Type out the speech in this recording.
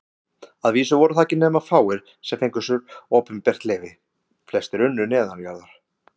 Að vísu voru það ekki nema fáir, sem fengu sér opinbert leyfi, flestir unnu neðanjarðar.